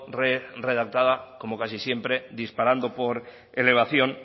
redactada como casi siempre disparando por elevación